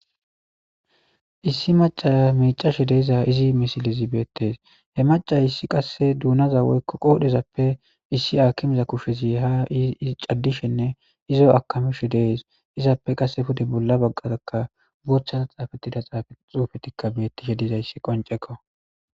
issi maca micashe deeza izi misilizi beettes he maca issi qasse duunaza woykko qoodhezappe issi akimiza kushshezi ha caddishenne izo akamishe dees izappe qasse pude bolla baggatakka boththata xaafettida xaafe xuufetikka bettishe dizayssi qoncekko